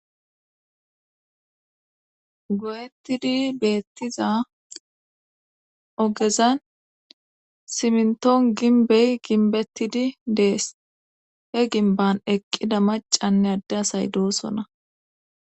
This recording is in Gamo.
Goyettidi beettiza ogezan simntoon ginbey ginbettidi dees he ginban eqqida macanne adde asay doosona.